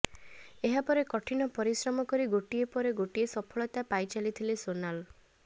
ଏହାପରେ କଠିନ ପରିଶ୍ରମ କରି ଗୋଟିଏ ପରେ ଗୋଟିଏ ସଫଳତା ପାଇ ଚାଲିଥିଲେ ସୋନାଲ